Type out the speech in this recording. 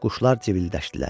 Quşlar cıvıldaşdılar.